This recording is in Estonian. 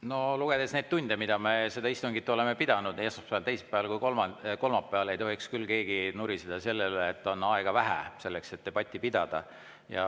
No lugedes neid tunde, mis me seda istungit oleme pidanud nii esmaspäeval, teisipäeval kui ka kolmapäeval, ei tohiks küll keegi nuriseda selle üle, et aega on vähe, selleks et debatti pidada.